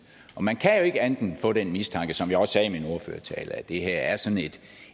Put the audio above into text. man kan jo ikke andet end at få den mistanke som jeg også sagde i min ordførertale at det her er sådan et